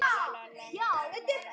Ha, hvað er það?